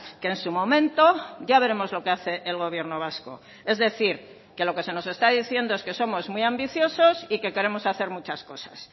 que en su momento ya veremos lo que hace el gobierno vasco es decir que lo que se nos está diciendo es que somos muy ambiciosos y que queremos hacer muchas cosas